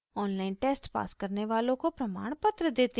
online test pass करने वालों को प्रमाणपत्र देते हैं